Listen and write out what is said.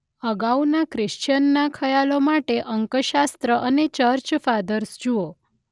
અગાઉના ક્રિશ્ચિયનના ખ્યાલો માટે અંકશાસ્ત્ર અને ચર્ચ ફાધર્સ જુઓ.